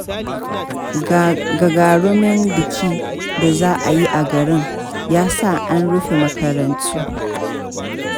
Gagarumin bikin da za a yi a garin, ya sa an rufe makarantu.